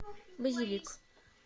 базилик